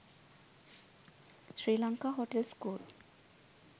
sri lanka hotel school